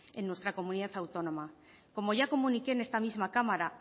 en nuestra comunidad autónoma como ya comuniqué en esta misma cámara